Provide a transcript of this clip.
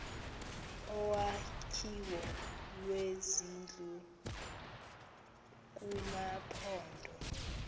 olwakhiwo lwezindlu kumaphondo